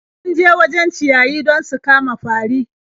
Sun je wajen ciyayi don su kama fari.